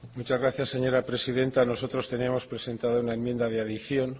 muchas gracias señora presidenta nosotros teníamos presentada una enmienda de adición